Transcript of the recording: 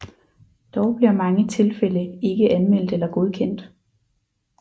Dog bliver mange tilfælde ikke anmeldt eller godkendt